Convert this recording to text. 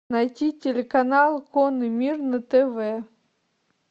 найти телеканал конный мир на тв